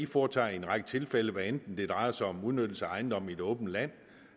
foretager i en række tilfælde hvad enten det drejer sig om udnyttelse af ejendomme i det åbne land